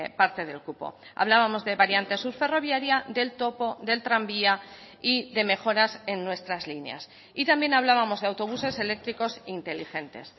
parte del cupo hablábamos de variante sur ferroviaria del topo del tranvía y de mejoras en nuestras líneas y también hablábamos de autobuses eléctricos inteligentes